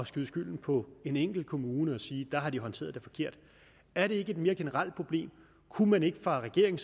skyde skylden på en enkelt kommune og sige at der har de håndteret det forkert er det ikke et mere generelt problem kunne man ikke fra regeringen